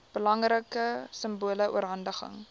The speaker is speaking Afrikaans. belangrike simboliese oorhandiging